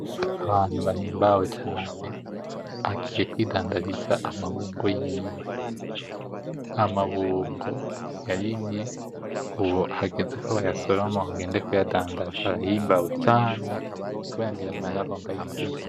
Ahantu bahimbawe cane, agiye kw'idandariza amabungo yiwe, amabungo yarimye ubu hageze ko bayasoroma bagende kuyadandaza arahimbawe cane kubera ngira amahera agonba yinjize.